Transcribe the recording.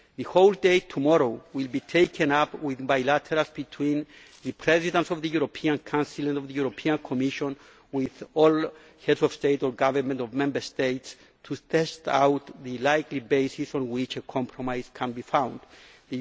The whole day tomorrow will be taken up with bilaterals between the Presidents of the European Council and of the European Commission with all heads of state or government of Member States to test out the likely basis on which a compromise can be